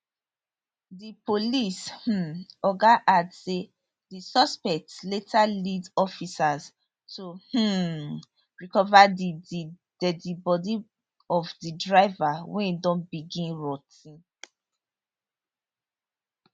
di police um oga add say di suspects later lead officers to um recover di di deadi body of di driver wey don begin rot ten